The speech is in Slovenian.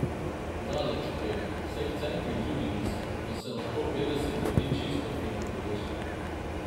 Daleč od tega, saj v cerkvi tudi niso, pa se lahko petdeset ljudi čisto fino poveže.